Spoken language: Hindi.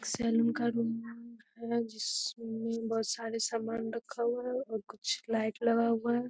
सलून का है जिसमें बहुत सारे समान रखा हुआ है और कुछ लाइट लगा हुआ है।